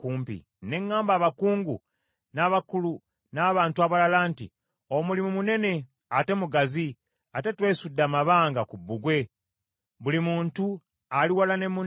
Ne ŋŋamba abakungu n’abakulu n’abantu abalala nti, “Omulimu munene ate mugazi, ate twesudde amabanga ku bbugwe, buli muntu ali wala ne munne.